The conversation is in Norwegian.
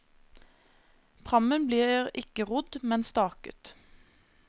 Prammen blir ikke rodd, men staket.